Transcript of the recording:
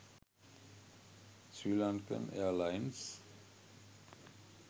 srilankan airlines